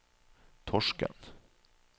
Torsken